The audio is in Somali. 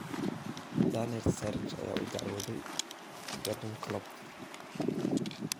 Daniel Sturridge ayaa u dacwooday Jurgen Klopp